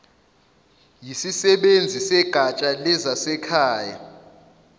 yisisebenzi segatsha lezasekhaya